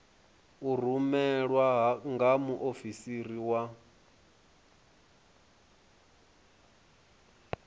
u rumelwa nga muofisiri wa